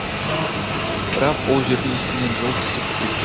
бірақ ол жердің үстінен жол түсіп кеткен